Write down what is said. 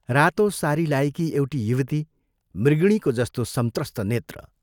रातो सारी लाएकी एउटी युवती मृगिणीको जस्तो संत्रस्त नेत्र।